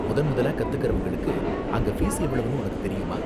முதன்முதலா கத்துகிறவங்களுக்கு அங்க ஃபீஸ் எவ்வளவுன்னு உனக்கு தெரியுமா?